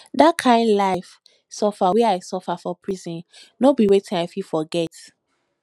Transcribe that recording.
di kain life suffer wey i suffer for prison no be wetin i fit forget